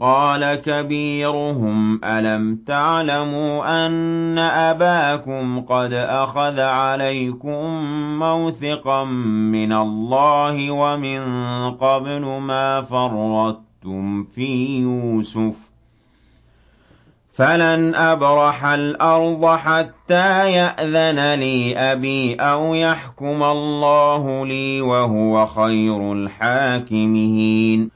قَالَ كَبِيرُهُمْ أَلَمْ تَعْلَمُوا أَنَّ أَبَاكُمْ قَدْ أَخَذَ عَلَيْكُم مَّوْثِقًا مِّنَ اللَّهِ وَمِن قَبْلُ مَا فَرَّطتُمْ فِي يُوسُفَ ۖ فَلَنْ أَبْرَحَ الْأَرْضَ حَتَّىٰ يَأْذَنَ لِي أَبِي أَوْ يَحْكُمَ اللَّهُ لِي ۖ وَهُوَ خَيْرُ الْحَاكِمِينَ